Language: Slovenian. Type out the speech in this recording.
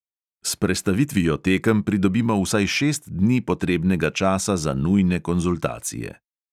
S prestavitvijo tekem pridobimo vsaj šest dni potrebnega časa za nujne konzultacije.